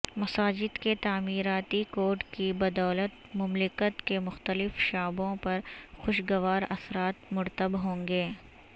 مساجد کے تعمیراتی کوڈ کی بدولت مملکت کے مختلف شعبوں پر خوشگوار اثرات مرتب ہونگے